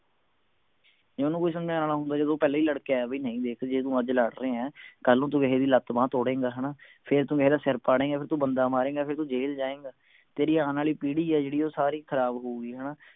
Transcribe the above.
ਜੇ ਓਹਨੂੰ ਕੋਈ ਸਮਝਾਣ ਆਲਾ ਹੁੰਦਾ ਜਦੋਂ ਉਹ ਪਹਿਲਾਂ ਹੀ ਲੜ ਕੇ ਆਯਾ ਵੀ ਨਹੀਂ ਵੇਖ ਜੇ ਤੂੰ ਅੱਜ ਲੜ ਰਿਹੈਂ ਕੱਲ ਨੂੰ ਤੂੰ ਕਿਸੇ ਦੀ ਲੱਤ ਬਾਂਹ ਤੋੜੇਂਗਾ ਹਣਾ ਫੇਰ ਤੂੰ ਮੇਰਾ ਸਿਰ ਪੜੇਂਗਾ ਫੇਰ ਤੂੰ ਬੰਦਾ ਮਾਰੇਂਗਾ ਫੇਰ ਤੂੰ ਜੇਲ ਜਾਏਂਗਾ ਤੇਰੀ ਆਣ ਆਲੀ ਪੀੜੀ ਹੈ ਉਹ ਸਾਰੀ ਖਰਾਬ ਹੋਊਗੀ ਹਣਾ